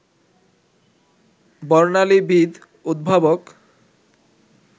বর্ণালীবিদ, উদ্ভাবক